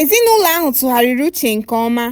ezinụlọ ahụ tụgharịrị uchenke ọma